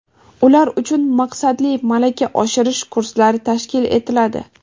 ular uchun maqsadli malaka oshirish kurslari tashkil etiladi;.